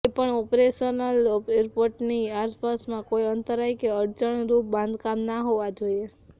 કોઇપણ ઓપરેશનલ એરપોર્ટની આસપાસમાં કોઇ અંતરાય કે અડચણરુપ બાંધકામ ના હોવા જોઇએ